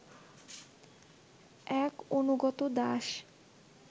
এক অনুগত দাস